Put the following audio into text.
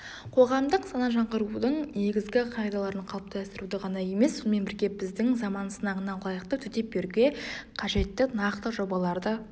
қоғамдық сана жаңғырудың негізгі қағидаларын қалыптастыруды ғана емес сонымен бірге біздің заман сынағына лайықты төтеп беруге қажетті нақты жобаларды